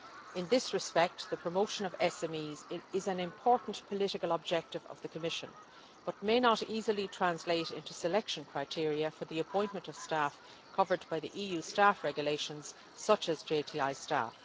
In this respect, the promotion of SMEs is an important political objective of the Commission but may not easily translate into selection criteria for the appointment of staff covered by the EU Staff Regulations such as JTI staff.